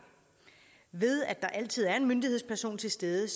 ved at der altid er en myndighedsperson til stede